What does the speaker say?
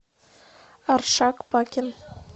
аршак пакин